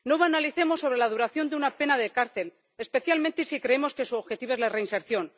No banalicemos sobre la duración de una pena de cárcel, especialmente si creemos que su objetivo es la reinserción.